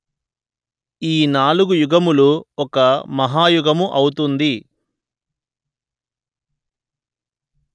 ఈ నాలుగు యుగములు ఒక మహాయుగము ఔతుంది